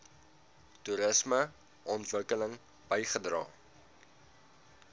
toerisme ontwikkeling bygedra